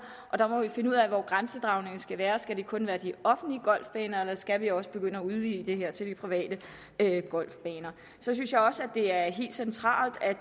og der må vi finde ud af hvor grænsedragningen skal være skal det kun være de offentlige golfbaner eller skal vi også begynde at udvide det her til de private golfbaner så synes jeg også det er helt centralt at